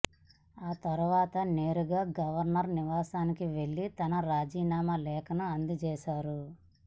ఆ తర్వాత నేరుగా గవర్నర్ నివాసానికి వెళ్లి తన రాజీనామా లేఖను అందచేశారు